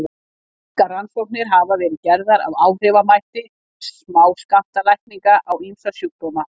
margar rannsóknir hafa verið gerðar á áhrifamætti smáskammtalækninga á ýmsa sjúkdóma